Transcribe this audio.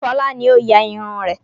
Fọlá ni ó ya irun rẹ̀.